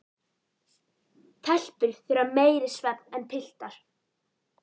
Telpur þurfa meiri svefn en piltar.